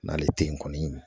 N'ale tɛ ye kɔni